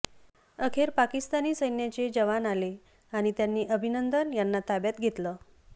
अखेर पाकिस्तानी सैन्याचे जवान आले आणि त्यांनी अभिनंदन यांना ताब्यात घेतलं